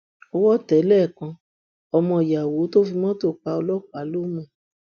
owó tẹ lẹkan ọmọ yàwó tó fi mọtò pa ọlọpàá lómú